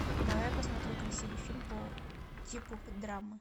давай посмотрю красивый фильм по типу драмы